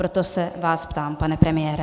Proto se vás ptám, pane premiére.